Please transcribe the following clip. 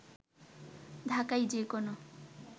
ঢাকায় যেকোনো